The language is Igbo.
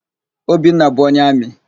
Obinna bụ onye amị.